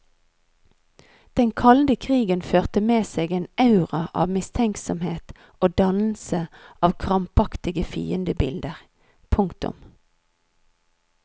Den kalde krigen førte med seg en aura av mistenksomhet og dannelse av krampaktige fiendebilder. punktum